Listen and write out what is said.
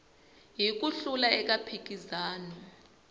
hi ku hlula eka mphikizano